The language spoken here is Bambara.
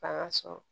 K'a ka so